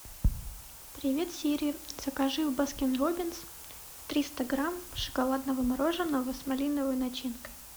привет сири закажи в баскин роббинс триста грамм шоколадного мороженого с малиновой начинкой